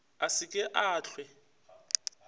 a se ke a hlwe